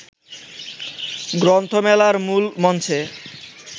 গ্রন্থমেলার মূল মঞ্চে